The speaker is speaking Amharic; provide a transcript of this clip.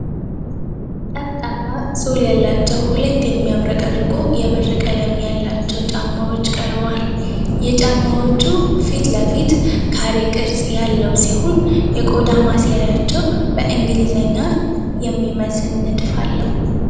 ጠፍጣፋ ሶል ያላቸው ሁለት የሚያብረቀርቁ የብር ቀለም ያላቸው ጫማዎች ቀርበዋል። የጫማዎቹ ፊት ለፊት ካሬ ቅርጽ ያለው ሲሆን፣ የቆዳ ማሰሪያቸው በእንግሊዘኛ "H" የሚመስል ንድፍ አለው።